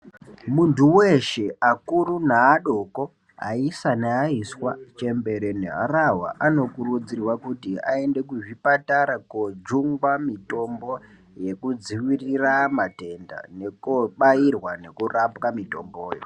Muntu weshe, akuru neadoko, aisa neaiswa ,chembere neharahwa, anokurudzirwa kuti aende kuzvipatara kojungwa mitombo yekudziirira matenda, nekoobairwa, nekoorapwa mitomboyo.